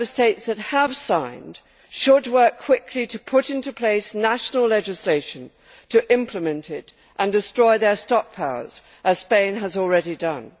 EU Member States that have signed should work quickly to put into place national legislation to implement it and destroy their stockpiles, as Spain has already done.